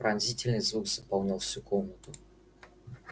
пронзительный звук заполнял всю комнату